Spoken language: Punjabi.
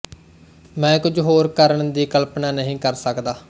ਮੈਂ ਕੁਝ ਹੋਰ ਕਰਨ ਦੀ ਕਲਪਨਾ ਨਹੀਂ ਕਰ ਸਕਦਾ